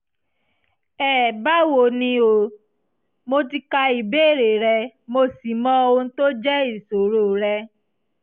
ẹbáwo ni o? mo ti ka ìbéèrè rẹ mo sì mọ ohun tó jẹ́ ìṣòro rẹ